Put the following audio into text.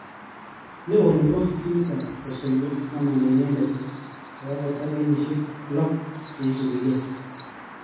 Neo nebo timit ap kosoiywo kokamanda inendet kokakotar kenyisiek 6 cheisupikei.